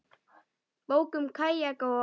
Bók um kajaka og.